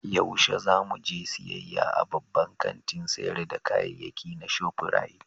Yaushe za mu je siyayya a babban kantin sayar da kayayyaki na Shop Rite?